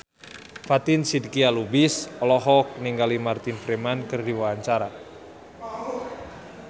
Fatin Shidqia Lubis olohok ningali Martin Freeman keur diwawancara